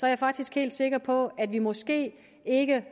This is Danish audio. er faktisk helt sikker på at vi måske ikke